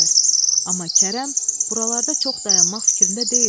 Amma Kərəm buralarda çox dayanmaq fikrində deyildi.